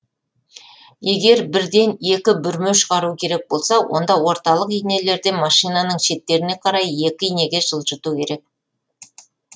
егер бірден екі бүрме шығару керек болса онда орталық инелерден машинаның шеттеріне қарай екі инеге жылжыту керек